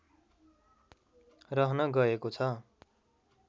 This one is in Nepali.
रहन गएको छ